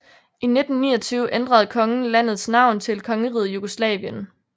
I 1929 ændrede kongen landets navn til Kongeriget Jugoslavien